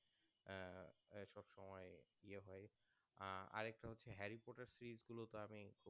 আরেকটা হচ্ছে Harry Potter series গুলো তো আমি